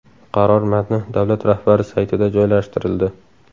Qaror matni davlat rahbari saytida joylashtirildi.